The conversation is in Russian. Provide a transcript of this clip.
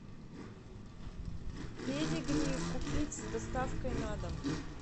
педигри купить с доставкой на дом